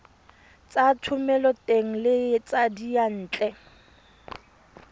tsa thomeloteng le tsa diyantle